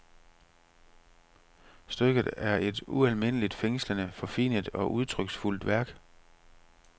Stykket er et ualmindelig fængslende, forfinet og udtryksfuldt værk.